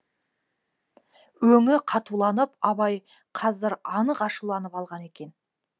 өңі қатуланып абай қазір анық ашуланып алған екен